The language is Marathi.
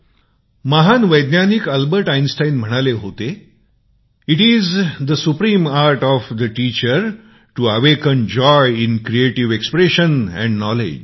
महान वैज्ञानिक अल्बर्ट आईन्सटीन म्हाणाले होते it is the supreme art of the teacher of awaken joy in creative expression and knowledge